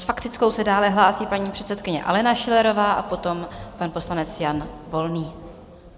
S faktickou se dále hlásí paní předsedkyně Alena Schillerová a potom pan poslanec Jan Volný.